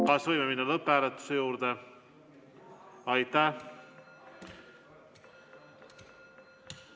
Kas võime minna lõpphääletuse juurde?